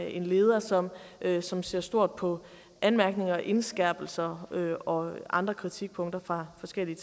en leder som leder som ser stort på anmærkninger og indskærpelser og andre kritikpunkter fra forskellige